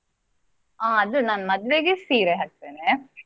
ಅದು ನಾನು ಮದ್ವೆಗೆ ಸೀರೆ ಹಾಕ್ತೇನೆ.